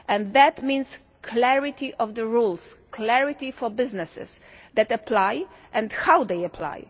That means clarity of the rules, clarity for businesses that apply and how they apply.